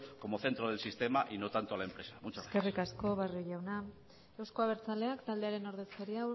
como centro del sistema y no tanto a la empresa muchas gracias eskerrik asko barrio jauna euzko abertzaleak taldearen ordezkaria